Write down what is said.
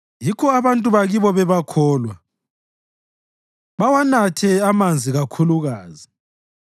Yikho abantu bakibo bebakholwa, bawanathe amanzi kakhulukazi.